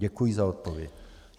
Děkuji za odpověď.